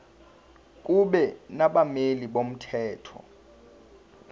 kube nabameli bomthetho